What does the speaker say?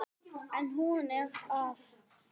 En hún er það ekki.